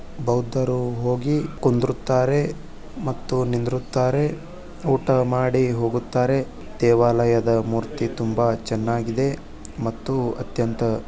ಬೌದ್ದರು ಹೋಗಿ ಕುಂದುರುತ್ತಾರೆ ಮತ್ತು ನಿಂದುರುತ್ತಾರೆ ಊಟ ಮಾಡಿ ಹೋಗುತ್ತಾರೆ ದೇವಾಲಯದ ಮೂರ್ತಿ ತುಂಬಾ ಚನ್ನಾಗಿದೆ ಮತ್ತು ಅತ್ಯಂತ --